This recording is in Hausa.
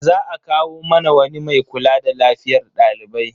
Za a kawo mana wani mai kula da lafiyar dalibai.